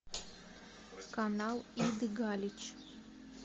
канал иды галич